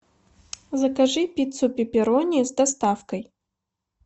закажи пиццу пепперони с доставкой